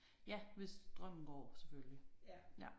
Ja hvis strømmen går selvfølgelig ja